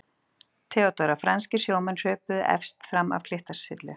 THEODÓRA: Franskir sjómenn hröpuðu efst fram af klettasyllu.